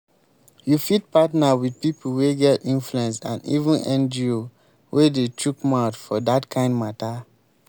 you fit partner with pipo wey get influence and even ngo wey dey chook mouth for dat kind matter